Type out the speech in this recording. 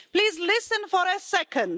Please listen for a second.